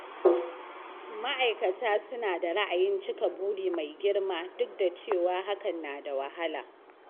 Ma'aikata suna da ra'ayin cika buri mai girma, duk da cewa hakan na da wahala.